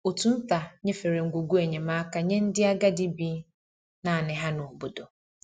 Òtù nta nyefere ngwugwu enyemaka nye ndị agadi bi naanị ha n’obodo.